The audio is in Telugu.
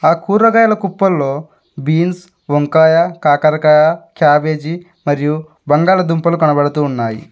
ఆ కూరగాయల కుప్పల్లో బీన్స్ వంకాయ కాకరకాయ క్యాబేజీ మరియు బంగాళదుంపలు కనబడుతూ ఉన్నాయి.